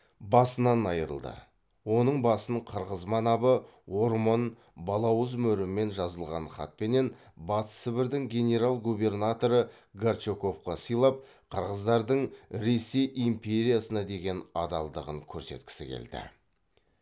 басынан айырылды оның басын қырғыз манабы ормон балауыз мөрімен жазылған хатпенен батыс сібірдің генерал губернаторы горчаковқа сыйлап қырғыздардың ресей империясына деген адалдығын көрсеткісі келді